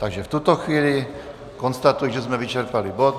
Takže v tuto chvíli konstatuji, že jsme vyčerpali bod.